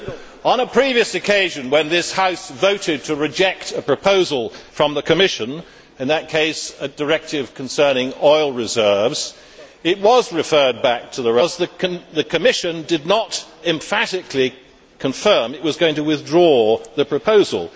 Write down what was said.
Mr President, on a previous occasion when this House voted to reject a proposal from the Commission in that case, a directive concerning oil reserves it was referred back to the relevant committee because the Commission did not emphatically confirm that it was going to withdraw the proposal.